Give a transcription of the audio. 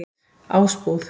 Ásbúð